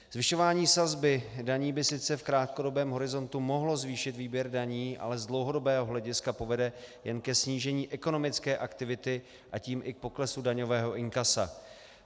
Zvyšování sazby daní by sice v krátkodobém horizontu mohlo zvýšit výběr daní, ale z dlouhodobého hlediska povede jen ke snížení ekonomické aktivity, a tím i k poklesu daňového inkasa.